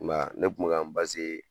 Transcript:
I m'a ye ne kun mi ka